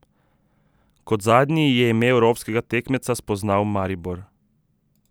Kot zadnji je ime evropskega tekmeca spoznal Maribor.